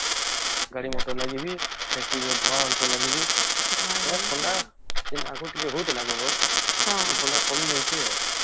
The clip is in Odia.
ଗାଡି ମୋଟର ଲାଗି ବି ଆଉ factory ର ଧୁଆଂ ମାନଙ୍କ ଲାଗି ବି ଥଣ୍ଡା ଆଗରୁ ଟିକେ ହଉଥିଲା ଜବର ଏବେ ଥଣ୍ଡା କମି ଯାଉଛେ ଆଉ